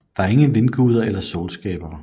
Der er ingen vindguder eller solskabere